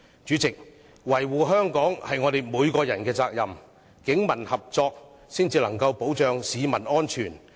主席，維護香港是我們每個人的責任，警民合作才可以保障市民安全。